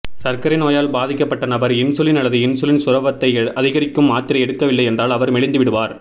சர்க்கரை நோயால் பாதிக்கப்பட்ட நபர் இன்சுலின் அல்லது இன்சுலின் சுரப்பதை அதிகரிக்கும் மாத்திரை எடுக்கவில்லை என்றால் அவர் மெலிந்து விடுவார்